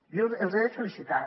jo els he de felicitar